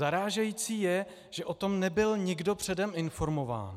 Zarážející je, že o tom nebyl nikdo předem informován.